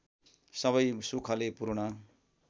सबै सुखले पूर्ण